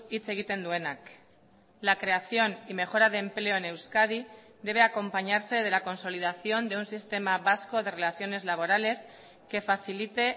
hitz egiten duenak la creación y mejora de empleo en euskadi debe acompañarse de la consolidación de un sistema vasco de relaciones laborales que facilite